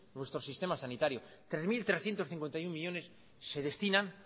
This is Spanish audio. nuestro sistema sanitario tres mil trescientos cincuenta y uno millónes se destinan